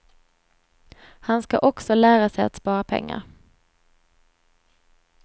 Han ska också lära sig att spara pengar.